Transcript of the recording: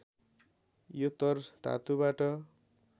यो तर् धातुबाट